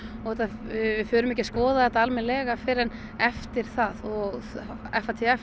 og við förum ekki að skoða þetta almennilega fyrr en eftir það og